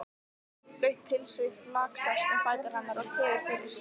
Þungt blautt pilsið flaksast um fætur hennar og tefur fyrir.